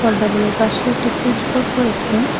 পদ্ম ফুলের পাশে একটি সুইচ বোর্ড রয়েছে।